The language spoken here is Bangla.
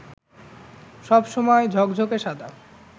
সব সময় ঝকঝকে সাদা